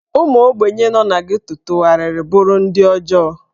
Ụmụ ogbenye nọ na Geto tụgharịrị bụrụ ndị ọjọọ.